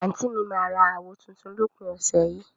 anti mi mà ra àwó tùntùn lópin ọsẹ yìí.